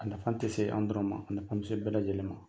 A nafan tɛ se an dɔrɔn ma a nafan bɛ se bɛɛ lajɛlen ma.